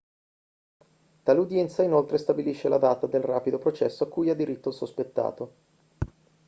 tale udienza inoltre stabilisce la data del rapido processo a cui ha diritto il sospettato